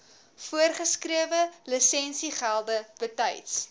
voorgeskrewe lisensiegelde betyds